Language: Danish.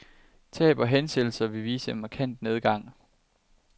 Tab og hensættelser vil vise en markant nedgang.